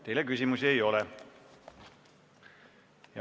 Teile küsimusi ei ole.